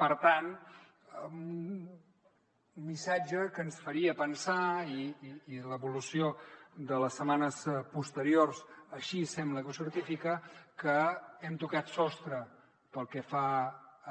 per tant un missatge que ens faria pensar i l’evolució de les setmanes posteriors així sembla que ho certifica que hem tocat sostre pel que fa